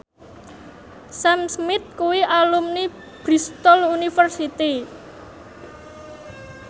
Sam Smith kuwi alumni Bristol university